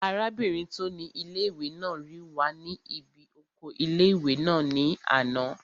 Arábìnrin tó ni ilé-ìwé náà rí wa ní bí oko ilé-ìwé náà ní àná